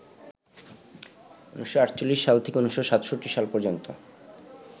১৯৪৮ থেকে ১৯৬৭ সাল পর্যন্ত